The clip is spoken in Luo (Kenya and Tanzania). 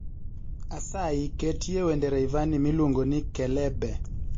Asayi ketye wend Rayvanny miluongoni kelebe